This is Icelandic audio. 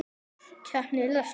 Konan hét Drífa.